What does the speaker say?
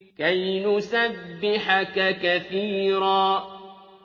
كَيْ نُسَبِّحَكَ كَثِيرًا